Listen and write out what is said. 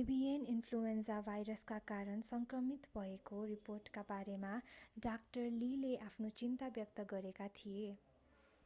एभिएन influenza भाइरसका कारण सङ्क्रमित भएको रिपोर्टका बारेमा डा लीले आफ्नो चिन्ता व्यक्त गरेका थिए।